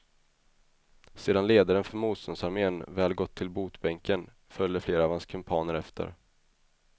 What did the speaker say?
Sedan ledaren för motståndsarmén väl gått till botbänken följde flera av hans kumpaner efter.